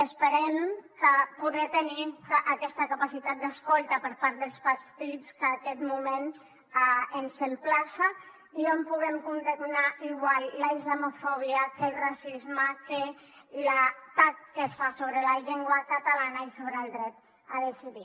esperem poder tenir aquesta capacitat d’escolta per part dels partits que aquest moment ens emplaça i on puguem condemnar igual la islamofòbia que el racisme que l’atac que es fa sobre la llengua catalana i sobre el dret a decidir